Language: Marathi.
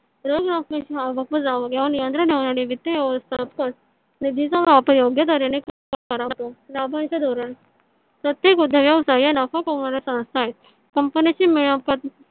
रोख रकमेच्या वित्त व्यवस्थापन निधीचा वापर योग्य तऱ्हेन लाभांश धोरण प्रत्येक उद्योग व्यवसाय या नफा कामवणाऱ्या व्यवस्था आहेत. कंपण्याची मिळकत.